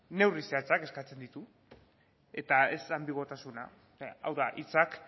neurri zehatzak eskatzen ditu eta ez anbiguotasuna hau da hitzak